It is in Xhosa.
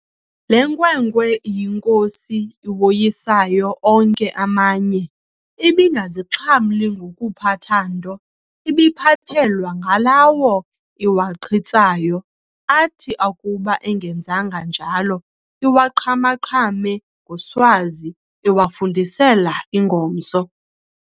Le nkwenkwe iyinkosi iwoyisayo onke amanye, ibingazixhamli ngokuphatha nto, ibiphathelwa ngalawo iwaqhitsayo, athi akuba engenzanga njalo, iwaqhama-qhame ngoswazi, iwafundisela ingomso.